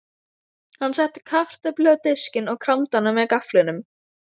Hann setti kartöflu á diskinn og kramdi hana með gafflinum.